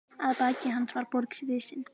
Að baki hans var borg risin.